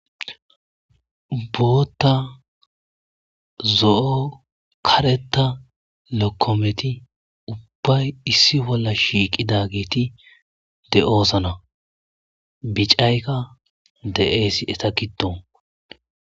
bootta zo7o kareta lokkometi ubbay issi bolla shiiqida giiti de7oosana bicaykka de7eesi eta kidoo